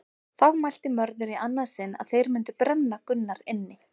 Þá mælti Mörður í annað sinn að þeir mundu brenna Gunnar inni.